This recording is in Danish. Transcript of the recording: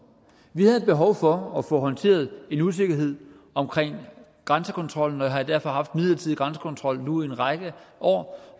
vi havde behov for at få håndteret en usikkerhed omkring grænsekontrollen og vi har derfor haft en midlertidig grænsekontrol nu i en række år